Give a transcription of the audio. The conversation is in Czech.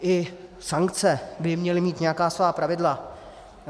I sankce by měly mít nějaká svá pravidla.